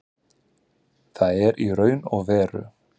Það er í raun og veru